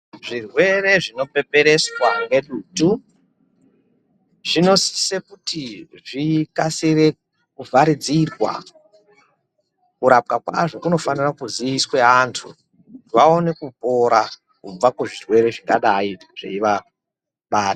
Zvrwere zvinoperereswa ngedutu zvinosise kuti zvikasire kuvharidzirwa. Kurapwa kwazvo kunofanira kuziiswe antu vaone kupora kubva kuzvirwere zvakadai zveivaba...